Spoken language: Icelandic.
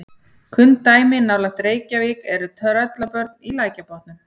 kunn dæmi nálægt reykjavík eru tröllabörn í lækjarbotnum